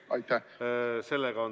Aitäh!